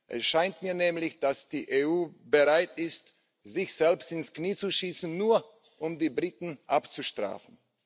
Es scheint mir nämlich, dass die EU bereit ist, sich selbst ins Knie zu schießen, nur um die Briten abzustrafen.